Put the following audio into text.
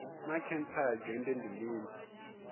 naa khentsa ya dzhende ndi mini